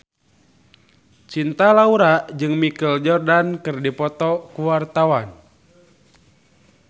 Cinta Laura jeung Michael Jordan keur dipoto ku wartawan